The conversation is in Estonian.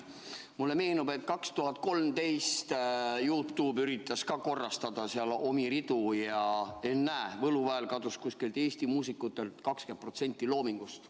Mulle meenub, et 2013 üritas ka YouTube korrastada oma ridu, ja ennäe, võluväel kadus umbes 20% Eesti muusikute loomingust.